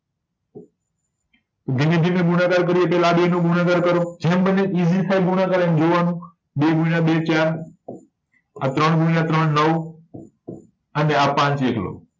જેને જેને ગુણાકાર કર્યો છે એ આ બે નો ગુણાકાર કરો જેમ બને એમ થાય ગુણાકાર એમ જોવા નું બે ગુણ્યા બે ચાર અ ત્રણ ગુણ્યા ત્રણ નવ અને આ પાંચ એકલો